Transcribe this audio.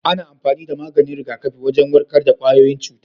Ana amfani da maganin rigakafi wajen warkar da kwayoyin cuta.